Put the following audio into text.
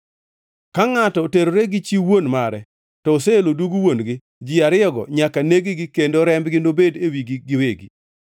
Ka ngʼato oterore gi chi wuon mare, to oseelo dug wuon-gi. Ji ariyogi nyaka neg-gi kendo rembgi nobedi e wigi giwegi.